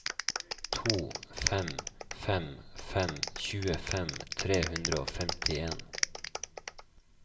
to fem fem fem tjuefem tre hundre og femtien